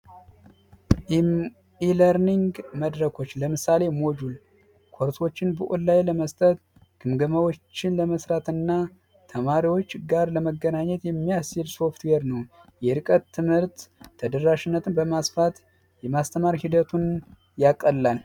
ኢለርኒንግ መድረኮች ለምሳሌ ሞጁል ላይ ለመስጠት ለመስራት እና ተማሪዎች ጋር ለመገናኘት የሚያስር ሶፍትዌር ነው የርቀት ትምህርት ተደራሽነትን በማስፋት የማስተማር ሂደቱን ያቀላል